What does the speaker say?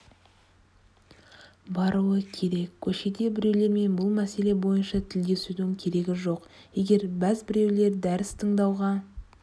баруы керек көшеде біреулермен бұл мәселе бойынша тілдесудің керегі жоқ егер бәз біреулер дәріс тыңдауға